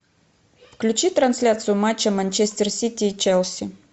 включи трансляцию матча манчестер сити и челси